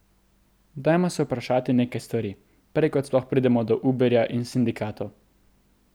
Dajmo se vprašati nekaj stvari, prej kot sploh pridemo do Uberja in sindikatov.